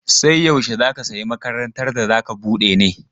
Sai yaushe za ka sayi makarantar da za ka bude ne?